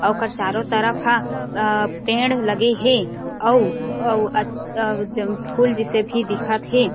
अउ ओकर चारो तरफ हा अ पेड़ लगे हे अउ अउ अच् अव जम फूल जिसे भी दिखत हे ।